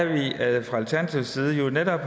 at vi fra alternativets side jo netop